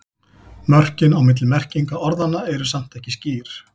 Mörkin á milli merkinga orðanna eru samt ekki skýr.